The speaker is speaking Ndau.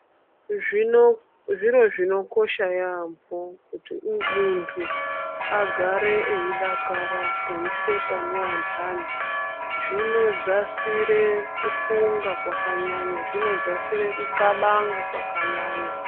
Zvino zviro zvinokosha yambo kuti muntu agare eyi dakara eyi seka ne andani zvino dzasire ku funga kwaka nyanya zvino dzasire ku kabanga kwaka nyanya.